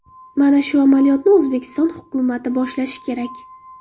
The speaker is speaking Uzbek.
Mana shu amaliyotni O‘zbekiston hukumati boshlashi kerak.